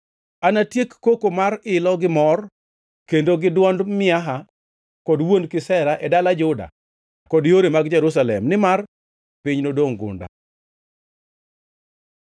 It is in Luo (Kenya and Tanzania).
Anatieki koko mar ilo gi mor kendo gi dwond miaha kod wuon kisera e dala Juda kod yore mag Jerusalem, nimar piny nodongʼ gunda.